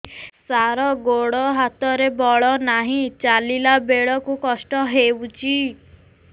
ସାର ଗୋଡୋ ହାତରେ ବଳ ନାହିଁ ଚାଲିଲା ବେଳକୁ କଷ୍ଟ ହେଉଛି